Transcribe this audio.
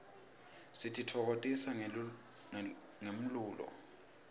sititfokotisa ngemlulo